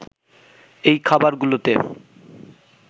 এই খাবার গুলোতে